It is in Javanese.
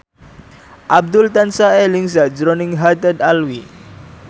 Abdul tansah eling sakjroning Haddad Alwi